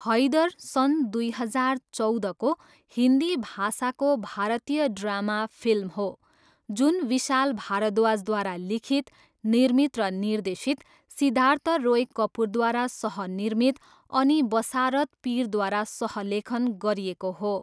हैदर सन् दुई हजार चौधको हिन्दी भाषाको भारतीय ड्रामा फिल्म हो जुन विशाल भारद्वाजद्वारा लिखित, निर्मित र निर्देशित, सिद्धार्थ रोय कपुरद्वारा सह निर्मित अनि बसारत पिरद्वारा सह लेखन गरिएको हो।